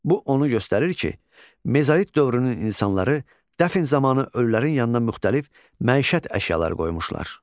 Bu onu göstərir ki, mezolit dövrünün insanları dəfn zamanı ölülərin yanına müxtəlif məişət əşyaları qoymuşlar.